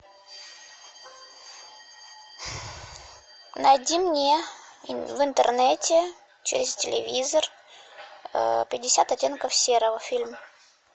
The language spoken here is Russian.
найди мне в интернете через телевизор пятьдесят оттенков серого фильм